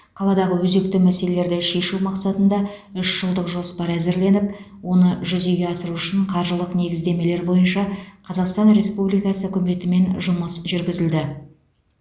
қаладағы өзекті мәселелерді шешу мақсатында үш жылдық жоспар әзірленіп оны жүзеге асыру үшін қаржылық негіздемелер бойынша қазақстан республикасы үкіметімен жұмыс жүргізілді